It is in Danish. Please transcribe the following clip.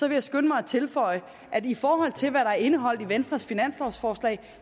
jeg skynde mig at tilføje at i forhold til hvad der er indeholdt i venstres finanslovforslag